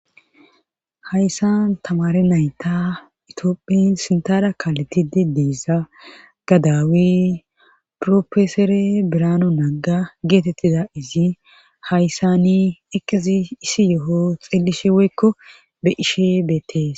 hayssan tamare nayta itioophin sintara kaaletidi deesa gadaawe profesore birano naaga geetettida izi hayssani eqizi isi yo7o xeellishe woykko be ishe beetees